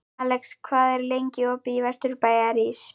Alex, hvað er lengi opið í Vesturbæjarís?